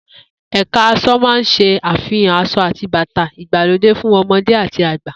Eka aso máa ń se àfihàn aṣọ ati bàtà ìgbàlódé fún ọmọdé àti àgbà